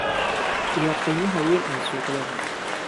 iyo qiimaha weyn ee suuqyada.